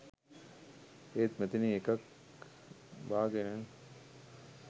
ඒත් මෙතනින් එකක් බා ගෙන